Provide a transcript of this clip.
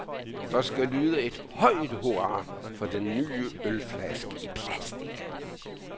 Der skal lyde et højt hurra for den nye ølflaske i plastic.